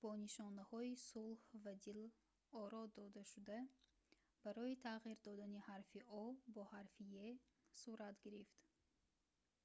бо нишонаҳои сулҳ ва дил оро додашуда барои тағйир додани ҳарфи o бо ҳарфи хурди e сурат гирифт